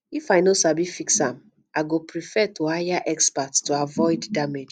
if i no sabi fix am i go prefer to hire expert to avoid damage